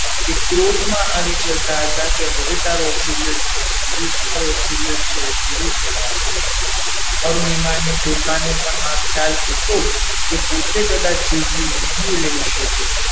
તે ક્રોધમાં આવી જતા હતા કે હવે તારો oxygen oxygen છે તે પૂરો થવા આવ્યો છે અરુણીમાં ને પોતાને પણ આ ખ્યાલ હતો કે તે પોતે પણ કદાચ જીવતી નહીં રહી શકે.